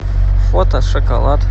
фото шоколад